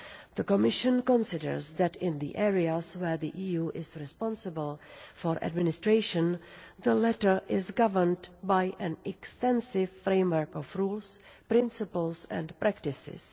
The Commission considers that in the areas where the EU is responsible for administration, the latter is governed by an extensive framework of rules, principles and practices.